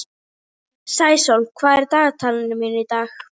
Sæsól, hvað er í dagatalinu mínu í dag?